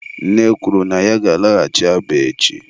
nne kwuru na ya ga-alaghachi Aba echi.